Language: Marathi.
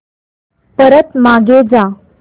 परत मागे जा